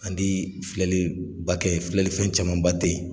An tii filɛliba kɛ, filɛlifɛn camanba te ye.